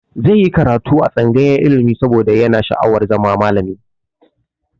Zai yi karatu a tsangayar ilimi saboda yana sha'awar zama malami.